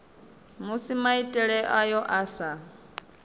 musi maitele ayo a sa